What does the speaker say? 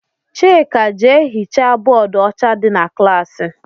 Chika jee hichaa bóódú ọcha dị n' klassi!!!